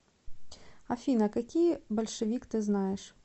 афина какие большевик ты знаешь